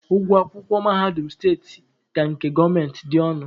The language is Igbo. Ụgwọ akwụkwọ mahadum steeti ka nke gọọmenti dị ọnụ.